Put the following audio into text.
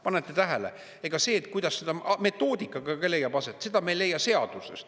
Panete tähele, ega see, kuidas see metoodika ka leiab aset, seda me ei leia seadusest.